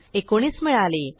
19 मिळाले